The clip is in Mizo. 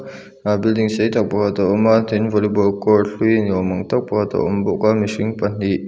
a building sei tak pakhat a awm a tin volleyball court hlui ni ni awm ang tak pakhat a awm bawk a mihring pahnih.